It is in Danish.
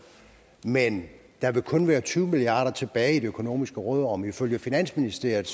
men der vil kun være tyve milliard kroner tilbage i det økonomiske råderum ifølge finansministeriet